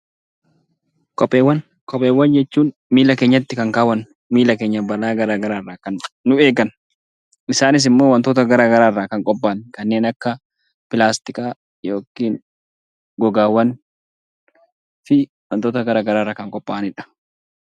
Kopheewwan jechuun miilla keenyatti kan kaawwannu, miilla keenya balaa gara garaarraa kan nu eegan. Isaanis immoo wantoota gara garaa irraa kan qophaa'an kanneen akka pilaastikaa yookiin gogaawwan fi wantoota gara garaarraa kan qophaa'anidha.